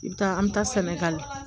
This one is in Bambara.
I bɛ taa an bɛ taa sɛnɛgali